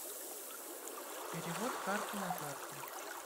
перевод с карты на карту